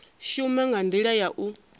shuma nga ndila ya u